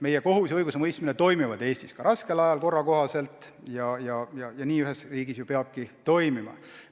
Meie kohus ja õigusemõistmine toimivad Eestis ka raskel ajal korra kohaselt, ja nii ühes riigis ju peabki olema.